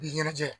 I ɲɛnajɛ